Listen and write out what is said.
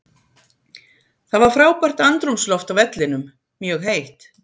Það var frábært andrúmsloft á vellinum, mjög heitt.